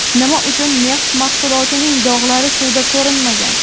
Nima uchun neft mahsulotining dog‘lari suvda ko‘rinmagan?